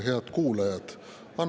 Head kuulajad!